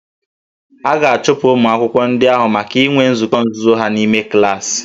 A ga-achụpụ ụmụ akwụkwọ ndị ahụ maka inwe nzukọ nzuzo ha n'ime klaasị